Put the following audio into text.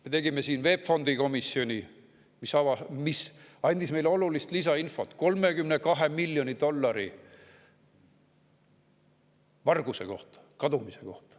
Me tegime siin VEB Fondi komisjoni, mis andis meile olulist lisainfot 32 miljoni dollari varguse kohta, kadumise kohta.